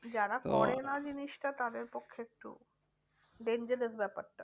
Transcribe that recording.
যারা করে না জিনিসটা তাদের পক্ষে একটু dangerous ব্যাপারটা।